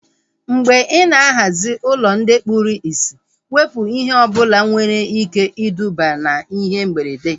Mgbe ị ná-ahazi ụlọ ndị kpụrụ isi, wepụ ihe ọbụla nwere ike iduba na ihe mberede